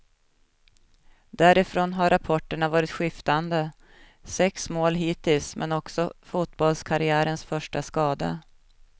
Därifrån har rapporterna varit skiftande, sex mål hittills men också fotbollskarriärens första skada.